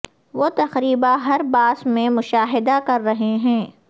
وہ تقریبا ہر باس میں مشاہدہ کر رہے ہیں